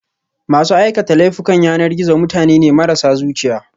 masu aikata laifukan yanar gizo mutane ne marasa zuciya